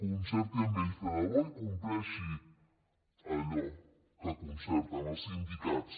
concerti amb ells de debò i compleixi allò que concerten els sindicats